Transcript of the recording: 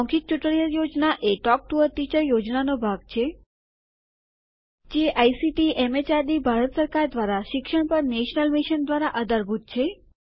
મૌખિક ટ્યુટોરીયલ યોજના એ ટોક ટુ અ ટીચર યોજનાનો ભાગ છે જે આઇસીટીએમએચઆરડીભારત સરકાર દ્વારા શિક્ષણ પર નેશનલ મિશન દ્વારા આધારભૂત છે